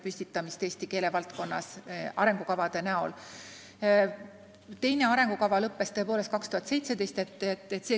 Teine arengukava lõppes tõepoolest aastal 2017.